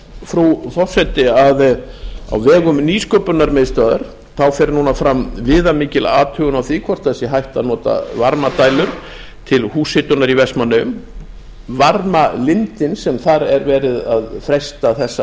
frú forseti að á vegum nýsköpunarmiðstöðvar fer fram viðamikil athugun á því hvort það sé hægt að nota varmadælur til húshitunar í vestmannaeyjum varmalindin sem þar er verið að freista þess